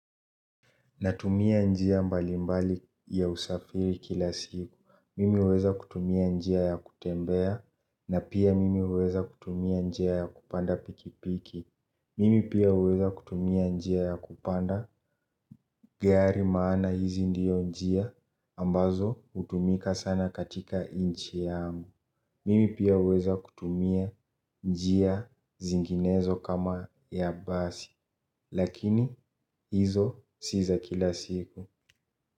Natumia njia mbali mbali ya usafiri kila siku. Mimi weza kutumia njia ya kutembea. Na pia mimi huweza kutumia njia ya kupanda pikipiki. Mimi pia weza kutumia njia ya kupanda. Gari maana hizi ndio njia ambazo hutumika sana katika nchi yangu, mimi pia huweza kutumia njia zinginezo kama ya basi. Lakini hizo si za kila siku.